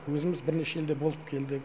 өзіміз бірнеше елде болып келдік